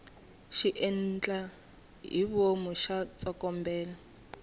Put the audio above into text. xiendlahivomu xa tsokombela